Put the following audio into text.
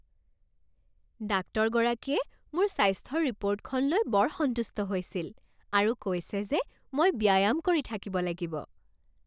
ডাক্তৰগৰাকীয়ে মোৰ স্বাস্থ্যৰ ৰিপৰ্টখন লৈ বৰ সন্তুষ্ট হৈছিল আৰু কৈছে যে মই ব্যায়াম কৰি থাকিব লাগিব।